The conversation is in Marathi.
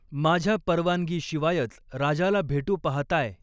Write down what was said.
माझ्या परवानगी शिवायच राजाला भेटु पहाताय